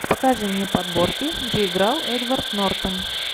покажи мне подборки где играл эдвард нортон